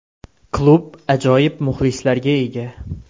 Klub ajoyib muxlislarga ega.